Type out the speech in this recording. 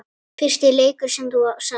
Fyrsti leikur sem þú sást?